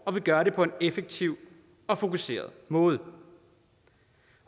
og vi gør det på en effektiv og fokuseret måde